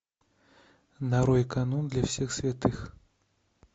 нарой канун для всех святых